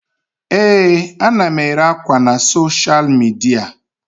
Ee, ana m ere ákwà na soshal midia.